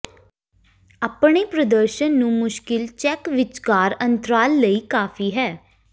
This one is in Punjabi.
ਆਪਣੇ ਪ੍ਰਦਰਸ਼ਨ ਨੂੰ ਮੁਸ਼ਕਿਲ ਚੈਕ ਵਿਚਕਾਰ ਅੰਤਰਾਲ ਲਈ ਕਾਫ਼ੀ ਹੈ